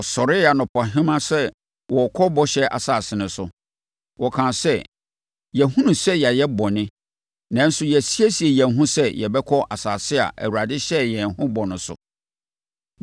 Wɔsɔree anɔpahema sɛ wɔrekɔ Bɔhyɛ Asase no so. Wɔkaa sɛ, “Yɛahunu sɛ yɛayɛ bɔne, nanso, yɛasiesie yɛn ho sɛ yɛbɛkɔ asase a Awurade hyɛɛ yɛn ho bɔ no so.”